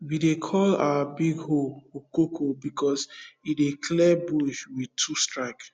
we dey call our big hoe okoko because e dey clear bush with two strke